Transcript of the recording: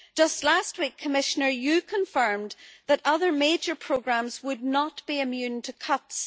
Just last week, Commissioner, you confirmed that other major programmes would not be immune to cuts.